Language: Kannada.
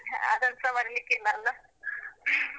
ಅದನ್ನುಸಾ ಮರಿಲಿಕ್ಕಿಲ್ಲ ಅಲ್ಲಾ?